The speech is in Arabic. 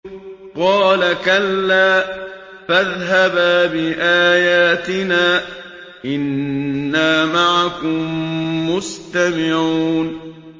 قَالَ كَلَّا ۖ فَاذْهَبَا بِآيَاتِنَا ۖ إِنَّا مَعَكُم مُّسْتَمِعُونَ